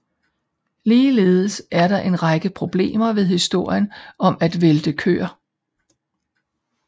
Ligeledes er der en række problemer ved historien om at vælte køer